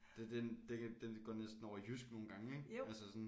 Det den den den går næsten over i jysk nogen gange ik altså sådan